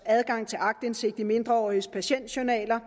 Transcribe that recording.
adgang til aktindsigt i mindreåriges patientjournaler